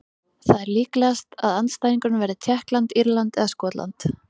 Það er líklegast að andstæðingurinn verði Tékkland, Írland eða Skotland.